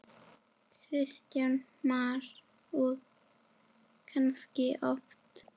Kristján Már: Og kannski oft?